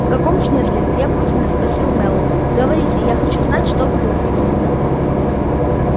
в каком смысле требовательно спросил мэллоу говорите я хочу знать что вы думаете